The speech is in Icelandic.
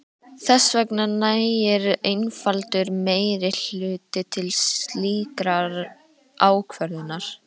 Þess vegna nægir einfaldur meirihluti til slíkrar ákvörðunar.